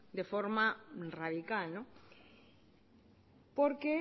de forma radical porque